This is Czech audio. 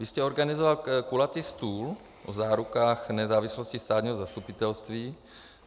Vy jste organizoval kulatý stůl o zárukách nezávislosti státního zastupitelství.